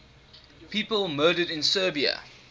people murdered in serbia